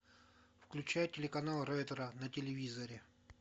включай телеканал ретро на телевизоре